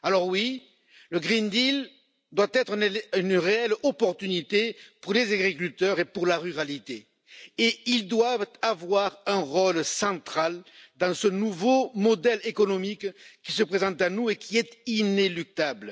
Alors oui, le pacte vert doit être une réelle opportunité pour les agriculteurs et pour la ruralité, et ceux ci doivent avoir un rôle central dans ce nouveau modèle économique qui se présente à nous, et qui est inéluctable.